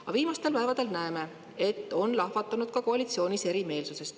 Aga viimastel päevadel oleme näinud, et ka koalitsioonis on lahvatanud erimeelsus.